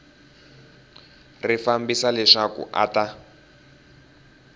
ri fambisa leswaku a ta